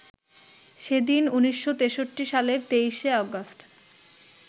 সেদিন ১৯৬৩ সালের ২৩ শে অগাস্ট